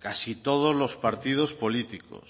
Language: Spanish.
casi todos los partidos políticos